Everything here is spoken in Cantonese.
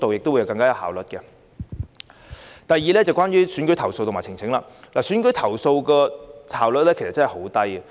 第二，關於選舉投訴與呈請，處理選舉投訴的效率真的很低。